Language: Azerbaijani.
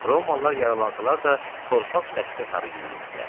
Romalılar yaralansalar da, torpaq səddi sarı yüyürürdülər.